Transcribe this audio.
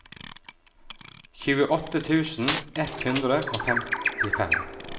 tjueåtte tusen ett hundre og femtifem